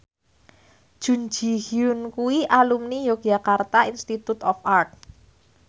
Jun Ji Hyun kuwi alumni Yogyakarta Institute of Art